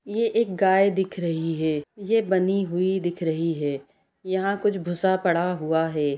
ये एक गाय दिख रही है ये बंधी हुई दिख रही है यहाँ कुछ भूसा पड़ा हुआ है|